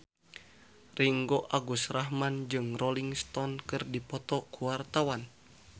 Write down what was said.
Ringgo Agus Rahman jeung Rolling Stone keur dipoto ku wartawan